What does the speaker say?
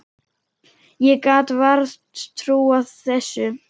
Ég gat vart trúað þessu.